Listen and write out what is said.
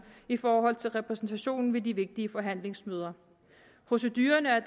i forhold til repræsentationen ved de vigtige forhandlingsmøder procedurerne er